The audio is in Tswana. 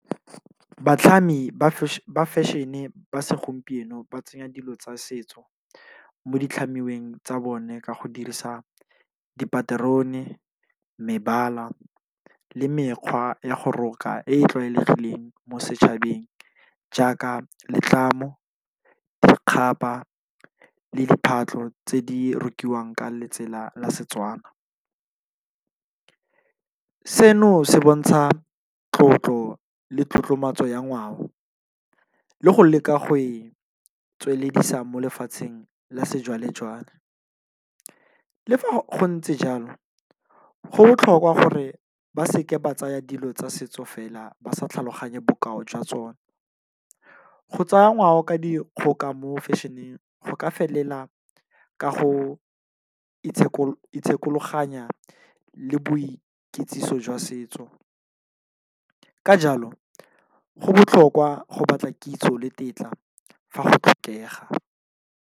Batlhami ba fashion-e ba segompieno ba tsenya dilo tsa setso, mo di tlhamiweng tsa bone ka go dirisa dipaterone, mebala le mekgwa ya go roka e e tlwaelegileng mo setšhabeng jaaka letlamo, dikgaba le diphatlo tse di rekiwang ka letsela la Setswana, seno se bontsha tlotlo le tlotlomatso ya ngwao le go leka go e tsweleledisa mo lefatsheng la sejwale-jwale, le fa go ntse jalo go botlhokwa gore ba seke ba tsaya dilo tsa setso fela ba sa tlhaloganye bokao jwa tsone, go tsaya ngwao ka dikgoka mo fashion-eng go ka felela ka go itshekologanya le boikitsiso jwa setso, ka jalo go botlhokwa go batla kitso le tetla fa go tlhokega.